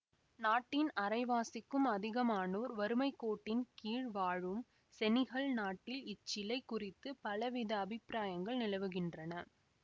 நாட்டின் அரைவாசிக்கும் அதிகமானோர் வறுமை கோட்டின் கீழ் வாழும் செனிகல் நாட்டில் இச்சிலை குறித்து பல வித அபிப்பிராயங்கள் நிலவுகின்றன